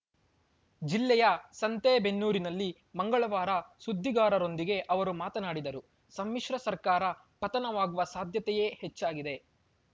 ಜಿಲ್ಲೆಯ ಸಂತೇಬೆನ್ನೂರಿನಲ್ಲಿ ಮಂಗಳವಾರ ಸುದ್ದಿಗಾರರೊಂದಿಗೆ ಅವರು ಮಾತನಾಡಿದರು ಸಮ್ಮಿಶ್ರ ಸರ್ಕಾರ ಪತನವಾಗುವ ಸಾಧ್ಯತೆಯೇ ಹೆಚ್ಚಾಗಿದೆ